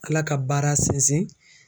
Ala ka baara sinzin.